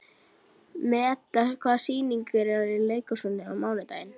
Meda, hvaða sýningar eru í leikhúsinu á mánudaginn?